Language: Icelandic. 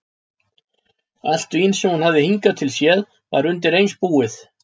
Allt vín sem hún hafði hingað til séð var undireins búið.